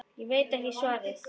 Ég veit ekki svarið.